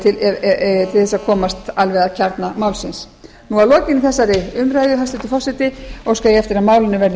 til þess að komast alveg að kjarna málsins að lokinni þessari umræðu hæstvirtur forseti óska ég eftir að málinu verði